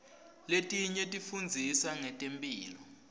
letinye tifundzisa ngetemphilo